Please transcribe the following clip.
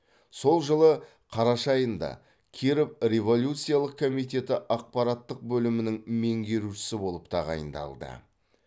сол жылы қараша айында киров революциялық комитеті ақпараттық бөлімінің меңгерушісі болып тағайындалды